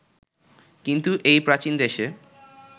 কিন্তু এই প্রাচীন দেশে